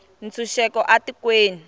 ntshunxeko a tikweni